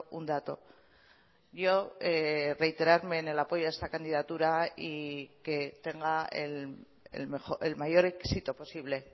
un dato yo reiterarme en el apoyo a esta candidatura y que tenga el mayor éxito posible